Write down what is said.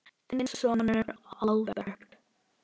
Þinn sonur, Albert.